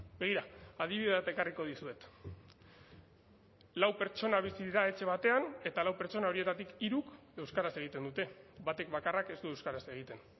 begira adibide bat ekarriko dizuet lau pertsona bizi dira etxe batean eta lau pertsona horietatik hiruk euskaraz egiten dute batek bakarrak ez du euskaraz egiten